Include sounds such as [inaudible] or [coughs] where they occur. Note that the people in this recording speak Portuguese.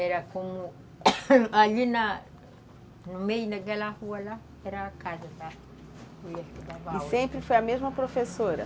Era como... [coughs] ali na... no meio daquela rua lá, era a casa da... [unintelligible] E sempre foi a mesma professora?